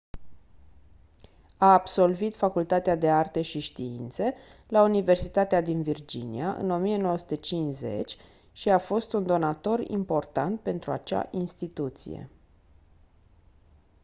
a absolvit facultatea de arte și științe la universitatea din virginia în 1950 și a fost un donator important pentru acea instituție